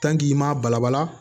i m'a balabala